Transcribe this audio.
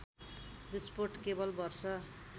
विस्फोट केवल वर्ष